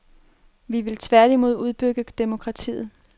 Vi vil tværtimod udbygge demokratiet.